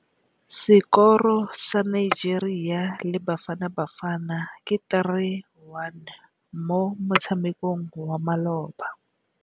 Sekôrô sa Nigeria le Bafanabafana ke 3-1 mo motshamekong wa malôba.